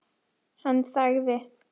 Hann þagði.